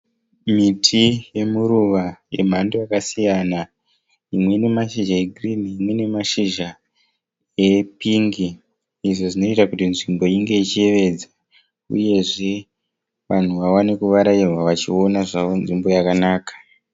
Miti yemuruva yemhando yakasiyana. Imwe ine mashizha e green imwe ine mashizha e pink. Izvo zvinoita kuti nzvimbo inge ichiyevedza uyezve vanhu vawane kuvarairwa vachiona zvavo nzvimbo yakanaka.